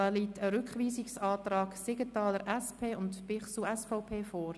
Es liegt ein Rückweisungsantrag Siegenthaler, SP / Bichsel, SVP, vor.